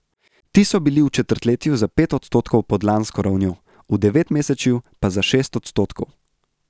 Ti so bili v četrtletju za pet odstotkov pod lansko ravnjo, v devetmesečju pa za šest odstotkov.